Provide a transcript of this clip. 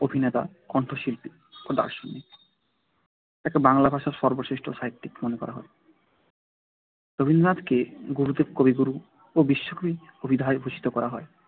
অভিনেতা, কণ্ঠশিল্পী ও দার্শনিক। তাকে বাংলা ভাষার সর্বশ্রেষ্ঠ সাহিত্যিক মনে করা হয় রবীন্দ্রনাথকে গুরুদেব কবিগুরু ও বিশ্বকবি অভিধায় ভূষিত করা হয়।